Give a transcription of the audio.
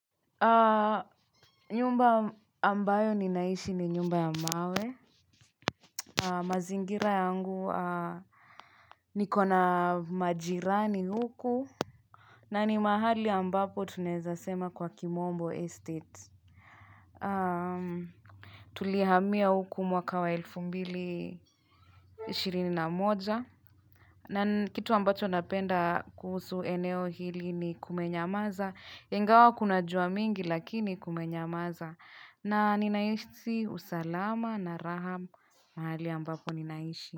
Nyumba ambayo ninaishi ni nyumba ya mawe. Mazingira yangu nikona majirani huku. Na ni mahali ambapo tunaweza sema kwa kimombo estate. Tulihamia huku mwaka wa elfu mbili ishirini na moja. Na ni kitu ambacho napenda kuhusu eneo hili ni kumenyamaza. Ingawa kuna jua mingi lakini kumenyamaza. Na ninahisi usalama na raha mahali ambapo ninaishi.